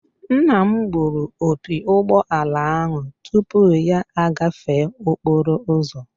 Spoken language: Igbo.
Nna m gbụrụ opi ụgbọala ahụ tupu ya agafee okporo ụzọ